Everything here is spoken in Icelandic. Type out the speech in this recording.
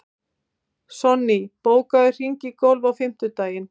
Sonný, bókaðu hring í golf á fimmtudaginn.